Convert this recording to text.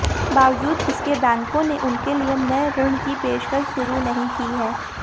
बावजूद इसके बैंकों ने उनके लिए नए ऋण की पेशकश शुरू नहीं की है